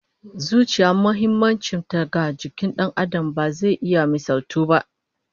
Zuciya muhimmancin ta ga jikin Dan Adam ba zai iya misaltuwa ba